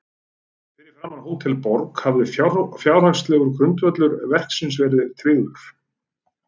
Fyrir fundinn á Hótel Borg hafði fjárhagslegur grundvöllur verksins verið tryggður.